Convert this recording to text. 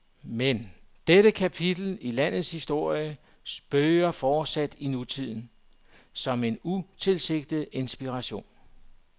Men dette kapitel i landets historie spøger fortsat i nutiden, som en utilsigtet inspiration.